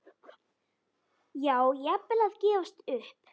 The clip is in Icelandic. Já, jafnvel að gefast upp.